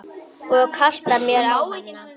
Og kasta mér á hana.